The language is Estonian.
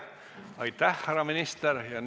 Aitäh, härra minister!